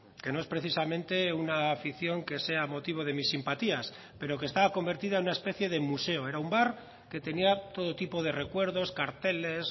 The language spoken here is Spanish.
que no es precisamente una afición que sea motivo de mis simpatías pero que estaba convertida en una especie de museo era un bar que tenía todo tipo de recuerdos carteles